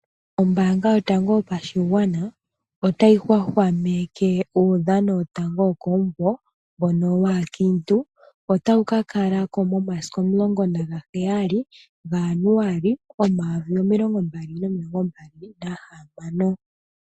Ombaanga yotango yopashigwana otayi hwahwameke uudhano wotango wokomumvo mbono waakiintu. Otawu ka kalako, momasiku omulongo nagaheyali ga Januali omumvo omayovi gaali nomilongo mbali nahamano.